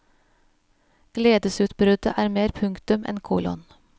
Gledesutbruddet er mer punktum enn kolon.